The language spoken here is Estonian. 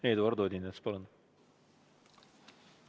Eduard Odinets, palun!